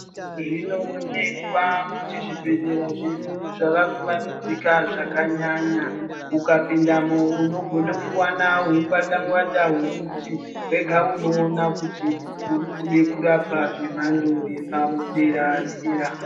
Zvinoonekwa kuti zvibhedhlera zvedu zvavakuvandudzika zvakanyanya ukapindamo unogone kuwana hwugwanda ngwanda hwekuti wega unoona kuona kuti urikuda kurapwa zvemhando yepadera dera .